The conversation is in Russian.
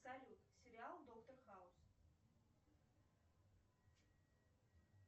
салют сериал доктор хаус